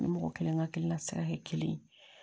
Ni mɔgɔ kelen ka hakilina sira ye kelen